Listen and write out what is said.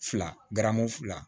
Fila garamu fila